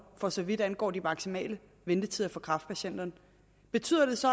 for så vidt angår de maksimale ventetider for kræftpatienter betyder det så